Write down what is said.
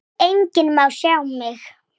En þetta er þitt líf.